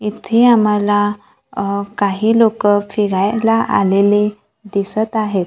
इथे आम्हाला काही लोकं फिरायला आलेले दिसतं आहेत.